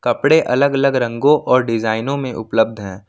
कपड़े अलग अलग रंगों और डिजाइनों में उपलब्ध है।